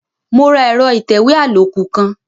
Mo ra ẹ̀rọ ìtẹ̀wé àlòkù kan.